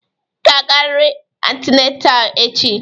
Ị ga-agarịrị antinetal echi!